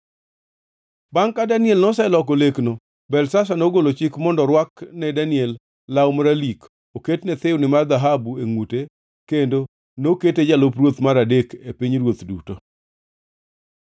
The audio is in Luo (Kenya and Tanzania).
Bangʼ ka Daniel noseloko lekno, Belshazar nogolo chik mondo orwak ne Daniel law maralik, oket ne thiwni mar dhahabu e ngʼute, kendo nokete jalup ruoth mar adek e pinyruoth duto.